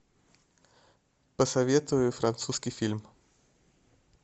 посоветуй французский фильм